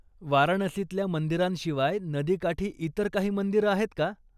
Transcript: वाराणसीतल्या मंदिरांशिवाय नदीकाठी इतर काही मंदिरं आहेत का?